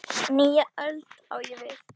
Nýja öld, á ég við.